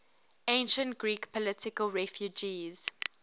ancient greek political refugees